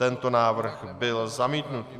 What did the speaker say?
Tento návrh byl zamítnut.